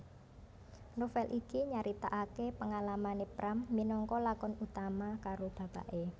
Novèl iki nyaritakaké pangalamané Pram minangka lakon utama karo bapaké